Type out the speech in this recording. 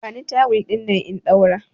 Bani tawul dinnan in ɗaura!